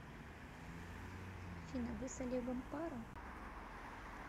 афина вы с олегом пара